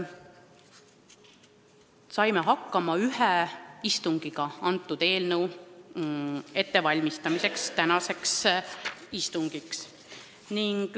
Me saime eelnõu ettevalmistamiseks tänaseks istungiks hakkama ühe istungiga.